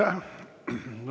Aitäh!